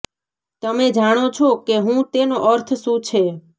તમે જાણો છો કે હું તેનો અર્થ શું છે